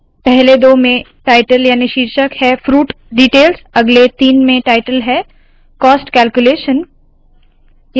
पहले दो में टायटल याने के शीर्षक है फ्रूट डीटेल्स अगले तीन में टायटल है कॉस्ट कैल्क्यूलेशन